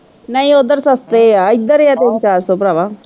ਨਹੀਂ ਉੱਧਰ ਸਸਤੇ ਹੈ ਇੱਧਰ ਹੀ ਹੈ ਤਿੰਨ ਚਾਰ ਸੋ ਭਰਾਵਾ।